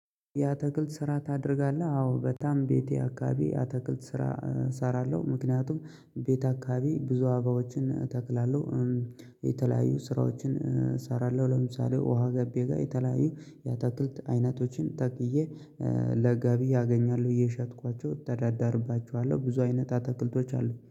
ያተክልት ስራ ታደርጋለህ? አዎ በጣም ቤቴ አካባቢ ያተክልት ስራ እሰራለሁ ምክንያቱም ቤት አካባቢ ብዙ አበባዎችን እተክላለሁ። የተለያዩ ስራዎችን እሰራለሁ። ለምሳሌ ውሃ ገቤ ጋር የተለያዩ የተክልት አይነቶችን ተቅዬ። ለገቢ አገኛለሁ እየሸጥኳቸው እተዳዳርባቸዋለሁ። ብዙ አይነት አትክልቶች አሉ